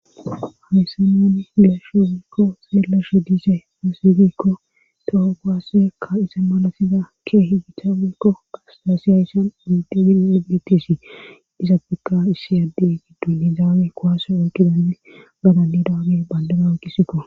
Awyssanani geeshogiikko seellashe dise asegikko toho goaasekka isa malasiza keehi githa wekko gasdassi ayssan urdebin eggetesi disa piqa issi addey giddu nizaawe kowase oyqidanni gadandidaage bayndana ukisikko